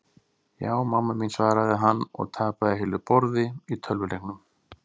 Ja, mamma mín svaraði hann og tapaði heilu borði í tölvuleiknum.